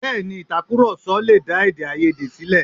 Bẹẹni, itakuroso lè dá èdèáiyedé ṣílẹ̀.